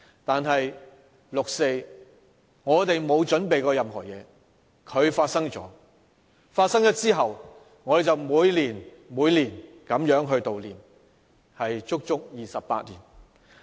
但是，對於六四，當年我們並沒有任何準備，而它發生了，自此之後，我們便每年每年的悼念，足足28年。